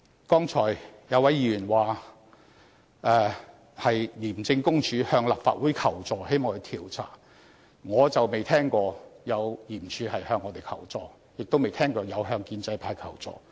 剛才有一位議員說廉署向立法會求助，希望作出調查，我卻不曾聽聞有這樣的事情，亦沒有聽過廉署向建制派求助。